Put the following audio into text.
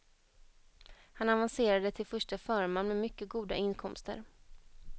Han avancerade till förste förman med mycket goda inkomster.